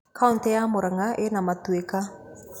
Kauntĩ ya Murang'a ĩna matuĩka.